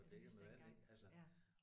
Det vidste jeg ikke engang ja